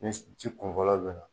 Ni ji kun fɔlɔ bɛ na.